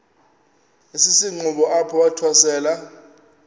esisenxuba apho wathwasela